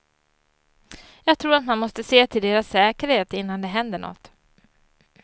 Jag tror att man måste se till deras säkerhet innan det händer något.